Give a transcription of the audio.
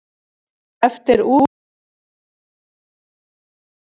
Eftir útlendri þjóð apar gikkurinn.